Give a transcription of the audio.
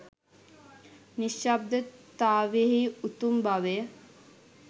නිශ්ශබ්දතාවයෙහි උතුම් බවය.